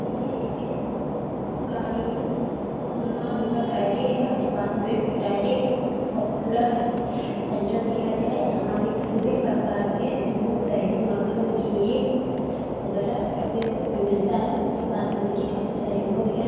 ये एक कारिम डेयरी है डिपार्मेंट डेयरी पॉपुलर है सेंटर दिखाई दे रहा है यहां पर विभिन्न प्रकार के दूध दही मक्खन घी वगैरा डब्बे में मिलता हैं उसके पास में काफी सारे लोग हैं।